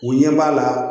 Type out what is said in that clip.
U ɲɛ b'a la